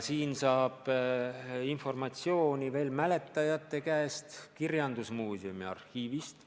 Sellist informatsiooni saab veel mäletajate käest, kirjandusmuuseumi arhiivist.